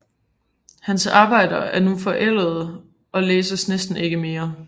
Hans arbejder er dog nu forældede og læses næsten ikke mere